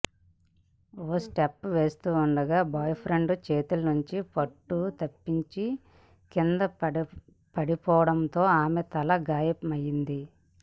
ఓ step వేస్తుండగా boyfriend చేతుల నుంచి పట్టు తప్పి కిందపడిపోవడంతో ఆమె తలకు గాయమైంది